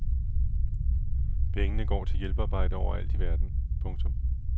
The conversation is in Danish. Pengene går til hjælpearbejde overalt i verden. punktum